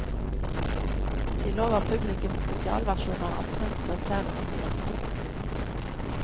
De lover publikum spesialversjoner av kjente og kjære rockelåter.